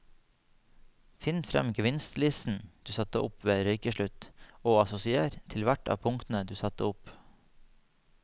Finn frem gevinstlisten du satte opp ved røykeslutt og assosiér til hvert av punktene du satte opp.